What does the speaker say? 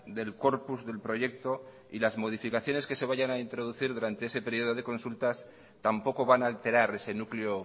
del corpus del proyecto y las modificaciones que se vayan a introducir sobre ese periodo de consultas tampoco van a alterar ese núcleo